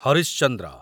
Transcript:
Harish Chandra